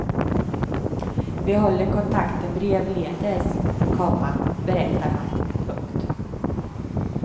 Vi håller kontakten brevledes, komma berättar han. punkt